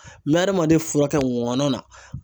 N bɛ hadamaden fura kɛ ŋɔnɔ na.